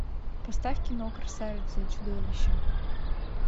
поставь кино красавица и чудовище